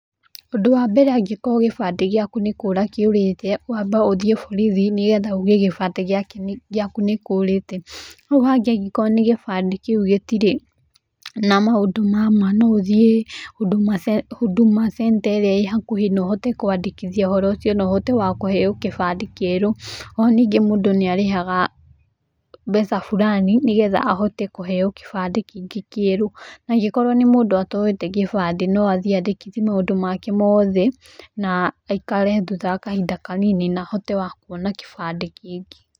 Ũndũ wa mbere angĩkorwo gĩbandĩ gĩaku nĩkũra nĩkĩũrĩte ũndũ wa mbere nĩ wambe ũthie borithi, na ũge gĩbandĩ gĩaku nĩkĩũrĩte. Hau hangĩ nĩ angĩkorwo gĩbande kĩu gĩtire na maũndũ ma ma no ũthie huduma centre irĩa ĩ hakuhĩ no hote kwandĩkithia ũhoro ũcio na ũhote kũheo gĩbandĩ kĩerũ, oho mũndũ nĩarĩhaga mbeca burani nĩgetha ahote kũheo gĩbandĩ kĩngĩ kĩerũ. Angĩkorwo nĩ mũndũ ũtoete kĩbande no athie andĩkithie maũndũ make mothe na aikare thutha wa kahinda kanini na ahote wa kuona kĩbandĩ kĩngĩ.